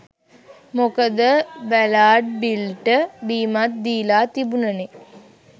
මොකද බැලාර්ඩ් බිල්ට බීමත් දීලා තිබුනනේ